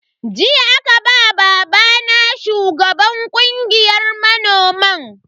Jiya aka ba babana shugaban kungiyar manoman.